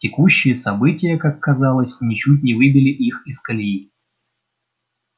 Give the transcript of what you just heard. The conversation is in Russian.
текущие события как казалось ничуть не выбили их из колеи